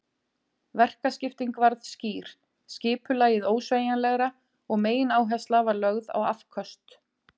Verkaskipting varð skýr, skipulagið ósveigjanlegra og megináhersla var lögð á afköst.